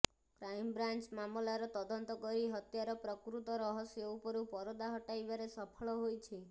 crime branch ମାମଲାର ତଦନ୍ତ କରି ହତ୍ୟାର ପ୍ରକୃତ ରହସ୍ୟ ଉପରୁ ପରଦା ହଟାଇବାରେ ସଫଳ ହୋଇଛି